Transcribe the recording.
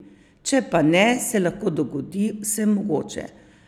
Če pa ne, se lahko dogodi vsemogoče.